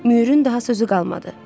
Myurun daha sözü qalmadı.